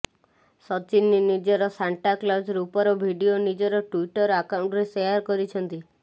ସଚିନ ନିଜର Santa Claus ରୂପର video ନିଜର ଟ୍ବିଟର ଆକାଉଣ୍ଟରେ ସେୟାର କରିଛନ୍ତି